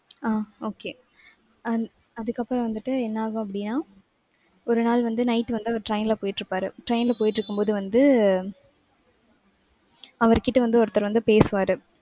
ஆஹ் okay அ~ அதுக்கப்புறம் வந்துட்டு என்ன ஆகும் அப்படின்னா ஒரு நாள் வந்து night வந்து அவர் train ல போயிட்டிருப்பாரு. train ல போயிட்டிருக்கும்போது வந்து அவர்கிட்ட வந்து ஒருத்தர் வந்து பேசுவாரு.